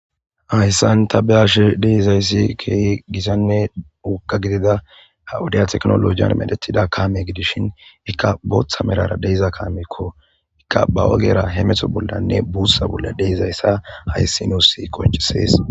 hayssan ta be'ashe deizayssi ke gisanne wuqa gidida hawudiya teknolojiyan medhetida kaame gidishin ikka booththa melara deiza kaamekko ikka ba ogera he meto bollanne buutha bolla deizayssa hayssi nuus qoncisees